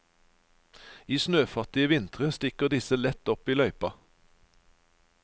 I snøfattige vintre stikker disse lett opp i løypa.